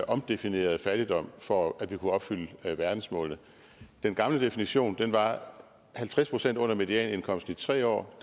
omdefinerede fattigdom for at vi kunne opfylde verdensmålene den gamle definition var halvtreds procent under medianindkomsten i tre år